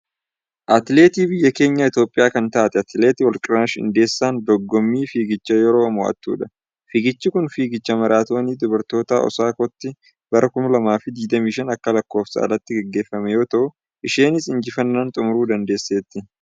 Atileetii biyya keenya Itiyoophiyaa kantaate atileet Warqinash Iddeessaan dogommii fiigichaa yeroo mo'attudha. Fiigichi kun fiigicha maaraatoonii dubartootaa Osaakaatti bara 2025 akka lakkoofsa alaatti gaggeeffame yoo ta'u isheenis injifannaan xumuuruu dandeesseetti.